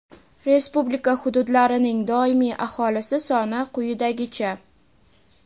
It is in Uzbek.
respublika hududlarining doimiy aholisi soni quyidagicha:.